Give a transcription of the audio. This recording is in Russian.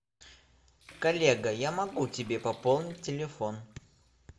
коллега я могу тебе пополнить телефон